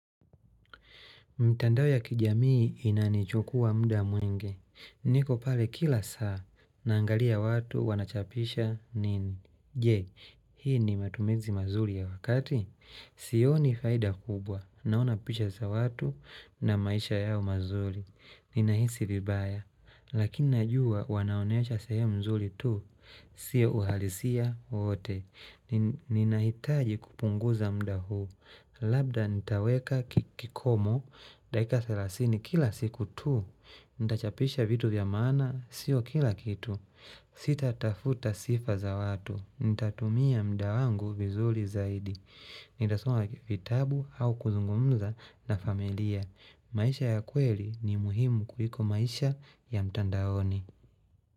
Mtandao ya kijamii inanichukua mda mwenge. Niko pale kila saa. Naangalia watu wanachapisha nini. Je, hii ni matumezi mazuli ya wakati. Sio ni faida kubwa. Naona pisha za watu na maisha yao mazuri. Ninahisi vibaya. Lakini najua wanaonesha seemu mzuli tu. Sio uhalisia wote. Ninahitaji kupunguza mda huu. Labda nitaweka kikomo, dakika 30 kila siku tu, nita chapisha vitu vya maana, sio kila kitu, sita tafuta sifa za watu, ntatumia mda wangu vizuli zaidi, nita soma vitabu au kuzungumza na familia, maisha ya kweli ni muhimu kuliko maisha ya mtandaoni.